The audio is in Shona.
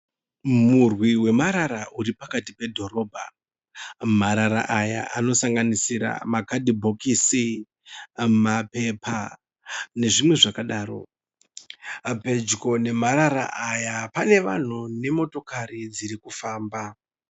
muurwi wemarara uri pakati pedhorobha, marara aya anosanganisira macardbox, mapepa nezvimwe zvakadaro, pedyo nemarara aya pane vanhu nemotokari dzirikufamba.